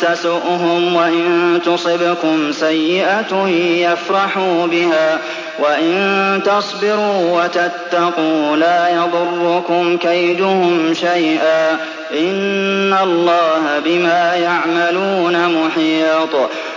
تَسُؤْهُمْ وَإِن تُصِبْكُمْ سَيِّئَةٌ يَفْرَحُوا بِهَا ۖ وَإِن تَصْبِرُوا وَتَتَّقُوا لَا يَضُرُّكُمْ كَيْدُهُمْ شَيْئًا ۗ إِنَّ اللَّهَ بِمَا يَعْمَلُونَ مُحِيطٌ